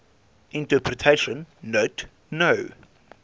interpretation note no